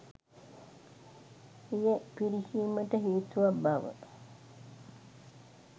එය පිරිහීමට හේතුවක් බව